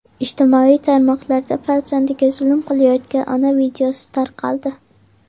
Ijtimoiy tarmoqlarda farzandiga zulm qilayotgan ona videosi tarqaldi.